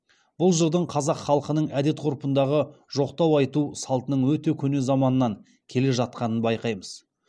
бұл жырдың қазақ халқының әдет ғұрпындағы жоқтау айту салтының өте көне заманнан келе жатқанын байқаймыз